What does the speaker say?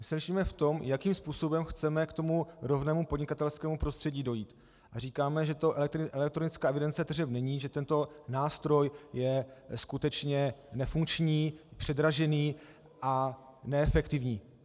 My se lišíme v tom, jakým způsobem chceme k tomu rovnému podnikatelskému prostředí dojít, a říkáme, že to elektronická evidence tržeb není, že tento nástroj je skutečně nefunkční, předražený a neefektivní.